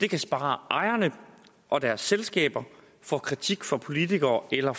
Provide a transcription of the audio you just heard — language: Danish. det kan spare ejerne og deres selskaber for kritik fra politikere eller